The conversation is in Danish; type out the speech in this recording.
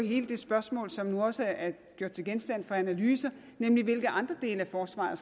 hele det spørgsmål som nu også er gjort til genstand for analyse nemlig hvilke andre dele af forsvaret